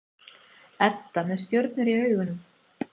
Edda með stjörnur í augunum.